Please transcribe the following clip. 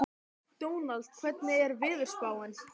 Ragnheiður hefur unnið í búðinni í þrjú ár, fyrst sögð